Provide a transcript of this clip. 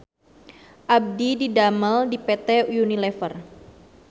Abdi didamel di PT UNILEVER